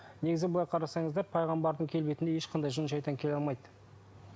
негізі былай қарасаңыздар пайғамбардың келбетінде ешқандай жын шайтан келе алмайды